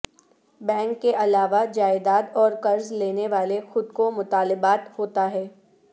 bank کے علاوہ جائیداد اور قرض لینے والے خود کو مطالبات ہوتا ہے